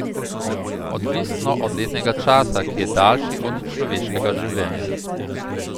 Odvisno od letnega časa, ki je daljši od človeškega življenja.